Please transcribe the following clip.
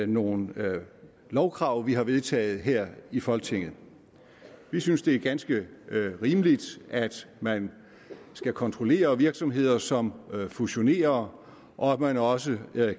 nogle lovkrav vi har vedtaget her i folketinget vi synes det er ganske rimeligt at man skal kontrollere virksomheder som fusionerer og at man også